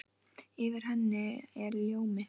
Yfir henni er ljómi.